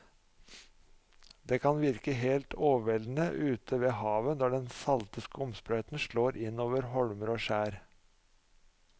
Det kan virke helt overveldende ute ved havet når den salte skumsprøyten slår innover holmer og skjær.